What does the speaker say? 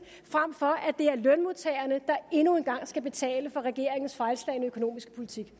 frem for at det er lønmodtagerne der endnu en gang skal betale for regeringens fejlslagne økonomiske politik